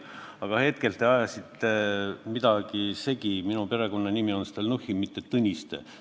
Aga praegu te ajasite midagi segi: minu perekonnanimi on Stalnuhhin, mitte Tõniste.